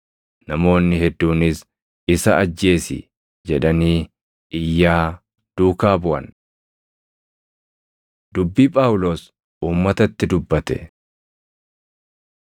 Namoonni hedduunis, “Isa ajjeesi!” jedhanii iyyaa duukaa buʼan. Dubbii Phaawulos Uummatatti Dubbate 22:3‑16 kwf – Hoj 9:1‑22; 26:9‑18